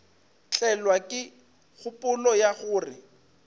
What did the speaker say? tlelwa ke kgopolo ya gore